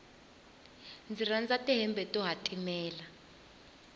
ndzi rhandza ti hembe to hatimela